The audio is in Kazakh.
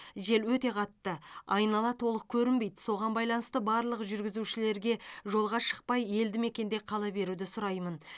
жел өте қатты айнала толық көрінбейді соған байланысты барлық жүргізушілерге жолға шықпай елдімекенде қала беруді сұраймын